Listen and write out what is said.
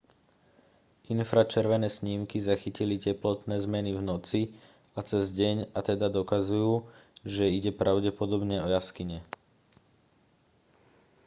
infračervené snímky zachytili teplotné zmeny v noci a cez deň a teda dokazujú že ide pravdepodobne o jaskyne